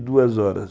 duas horas.